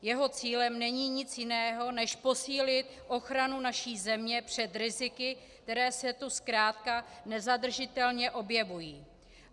Jeho cílem není nic jiného než posílit ochranu naší země před riziky, která se tu zkrátka nezadržitelně objevují.